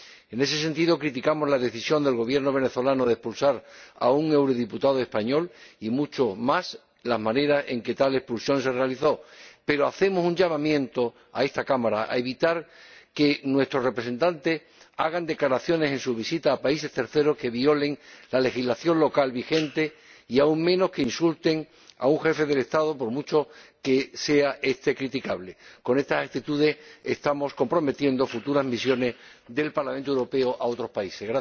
En este sentido criticamos la decisión del Gobierno venezolano de expulsar a un eurodiputado español y mucho más la manera en que tal expulsión se realizó, pero hacemos un llamamiento a esta Cámara instándola a evitar que nuestros representantes, en sus visitas a países terceros, hagan declaraciones que violen la legislación local vigente y, aún menos, que insulten a un jefe de Estado, por mucho que sea éste criticable. Con estas actitudes estamos comprometiendo futuras misiones del Parlamento Europeo en otros países.